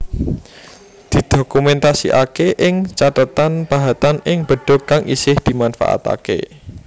Didokumèntasiaké ing cathetan pahatan ing bedug kang isih dimanfaataké